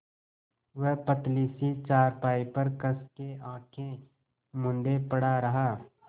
वह पतली सी चारपाई पर कस के आँखें मूँदे पड़ा रहा